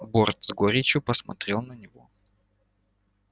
борт с горечью посмотрел на него